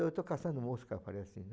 Eu estou caçando mosca, falei assim, né?